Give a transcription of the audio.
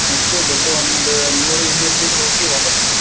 ನಾನಿಷ್ಟು ದೊಡ್ಡ್ ಒಂದು ನೂರು ಇನ್ನೂರು ಮೀಟರ್ ಹೋಗಿ ವಾಪಾಸ್ ಬಂದ್ಬಿತ್ವಿ--